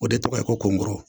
O de tɔgɔ ye konboro